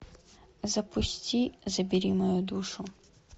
запусти забери мою душу